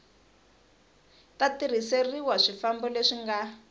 ta tirhiseriwa swifambo leswi nga